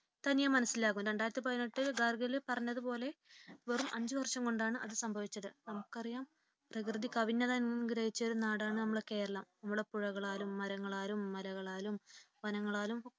തനിയെ മനസ്സിലാവും രണ്ടായിരത്തിപതിനെട്ടിൽ ഗാർഗിൽ പറഞ്ഞതുപോലെ വെറും അഞ്ചു വർഷം കൊണ്ടാണ് അത് സംഭവിച്ചത്. നമുക്കറിയാം പ്രകൃതി കനിഞ്ഞനുഗ്രഹിച്ചൊരു നാടാണ് നമ്മുടെ കേരളം. നമ്മുടെ പുഴകളാലും മരങ്ങളാലും മലകളാലും വനങ്ങളാലും